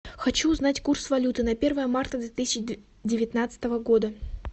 хочу узнать курс валюты на первое марта две тысячи девятнадцатого года